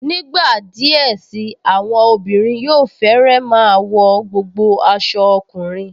Nígbà díẹ̀ sí i, àwọn obìnrin yóò fẹ́rẹ́ máa wọ gbogbo aṣọ ọkùnrin